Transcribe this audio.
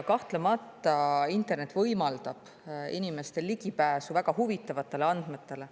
Kahtlemata internet võimaldab inimestele ligipääsu väga huvitavatele andmetele.